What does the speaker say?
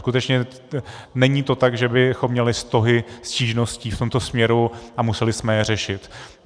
Skutečně není to tak, že bychom měli stohy stížností v tomto směru a museli jsme je řešit.